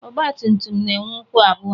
Ọgbatumtum na-enwe ụkwụ abụọ.